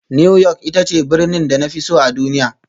New York ita ce birnin da na fi so a duniya